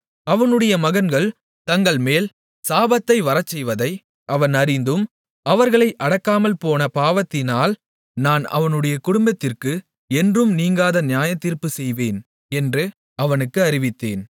அவனுடைய மகன்கள் தங்கள்மேல் சாபத்தை வரச்செய்வதை அவன் அறிந்தும் அவர்களை அடக்காமல்போன பாவத்தினால் நான் அவனுடைய குடும்பத்திற்கு என்றும் நீங்காத நியாயத்தீர்ப்புச் செய்வேன் என்று அவனுக்கு அறிவித்தேன்